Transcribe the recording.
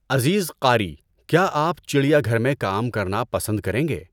عزیز قاری، کیا آپ چڈیا گھر میں کام کرنا پسند کریں گے؟